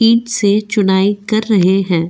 Seat से चुनाई कर रहे हैं।